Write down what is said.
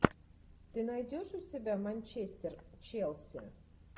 ты найдешь у себя манчестер челси